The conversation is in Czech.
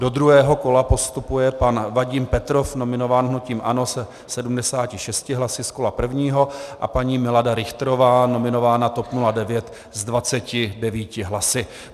Do druhého kola postupuje pan Vadim Petrov, nominován hnutím ANO, se 76 hlasy z kola prvního a paní Milada Richterová, nominována TOP 09, s 29 hlasy.